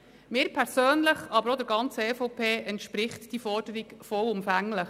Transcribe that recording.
Mir persönlich, aber auch der ganzen EVP, entspricht diese Forderung vollumfänglich.